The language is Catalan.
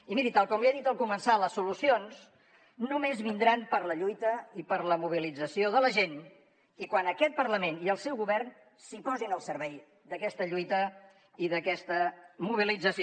i miri tal com li he dit al començar les solucions només vindran per la lluita i per la mobilització de la gent i quan aquest parlament i el seu govern es posin al servei d’aquesta lluita i d’aquesta mobilització